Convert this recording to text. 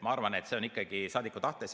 Ma arvan, et see oleneb ikkagi saadiku tahtest.